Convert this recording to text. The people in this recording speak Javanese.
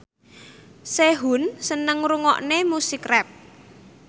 Sehun seneng ngrungokne musik rap